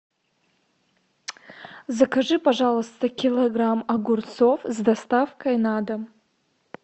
закажи пожалуйста килограмм огурцов с доставкой на дом